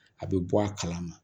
A bɛ bɔ a kalama